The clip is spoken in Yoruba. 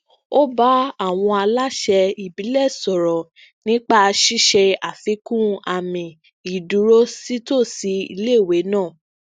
ó bá àwọn aláṣẹ ibilẹ sọrọ nípa ṣiṣe afikun àmì iduro sitòsí iléèwé náà